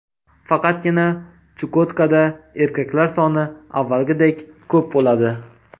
Faqatgina Chukotkada erkaklar soni avvalgidek ko‘p bo‘ladi.